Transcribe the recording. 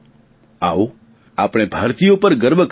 આવો આપણો ભારતીયો પર ગર્વ કરીએ